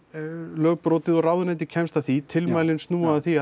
lög brotið og ráðuneytið kemst að því tilmælin snúa að því